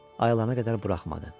Ayılana qədər buraxmadı.